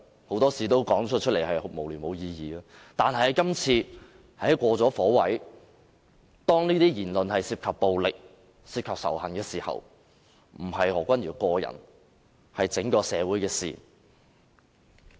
很多事說出來都是無聊、無意義的，但今次他過了火位，當他的言論涉及暴力及仇恨時，便不再是何君堯議員個人，而是整個社會的事情。